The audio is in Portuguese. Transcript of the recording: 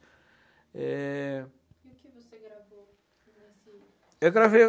É... O que você gravou, assim? Eu gravei